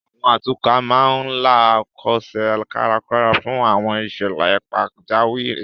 Àwọn atukọ̀ máa ń la Ẹ̀kọ́ṣẹ́ kárakára fún àwọn ìṣẹ̀lẹ̀ pajawiri